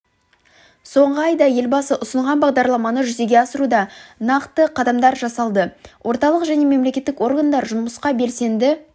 соңғы айда елбасы ұсынған бағдарламаны жүзеге асыруда нақты қадамдар жасалды орталық және мемлекеттік органдар жұмысқа белсенді